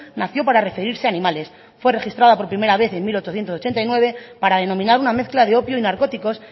nació para referirse a animales fue registrada por primera vez en mil ochocientos ochenta y nueve para denominar una mezcla de opio y narcóticos